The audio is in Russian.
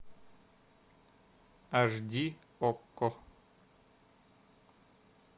аш ди окко